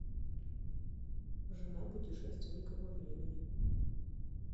жена путешественника во времени